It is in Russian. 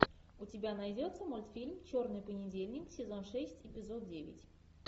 у тебя найдется мультфильм черный понедельник сезон шесть эпизод девять